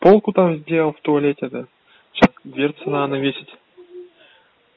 полку там сделал в туалете та сейчас дверцу надо весить